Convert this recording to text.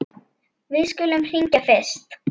Við skulum hringja fyrst.